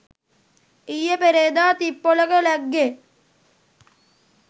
ඊයේ පෙරේද තිප්පොලක ලැග්ගේ.